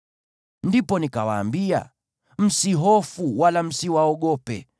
Ndipo nikawaambia, “Msihofu, wala msiwaogope.